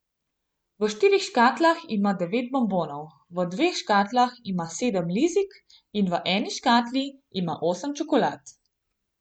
V štirih škatlah ima devet bonbonov, v dveh škatlah ima sedem lizik in v eni škatli ima osem čokolad.